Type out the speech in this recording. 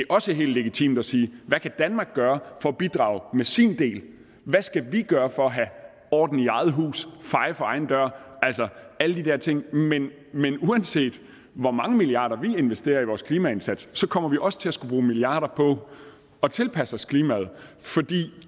også helt legitimt at sige hvad kan danmark gøre for at bidrage med sin del hvad skal vi gøre for at have orden i eget hus feje for egen dør altså alle de her ting men uanset hvor mange milliarder vi investerer i vores klimaindsats kommer vi også til at skulle bruge milliarder på at tilpasse os klimaet fordi